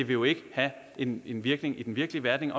jo ikke have en en virkning i den virkelige verden